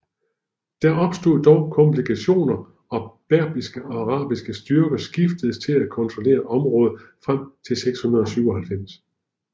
Der opstod dog komplikationer og berbiske og arabiske styrker skiftedes til at kontrollere området frem til 697